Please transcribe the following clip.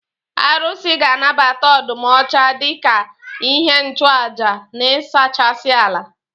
Arụsị ga anabata ọdụm ọcha dika ihe nchụaja na ịsachasị ala.